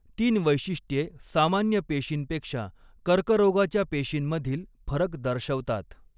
तीन वैशिष्ट्ये सामान्य पेशींपेक्षा कर्करोगाच्या पेशींमधील फरक दर्शवतात.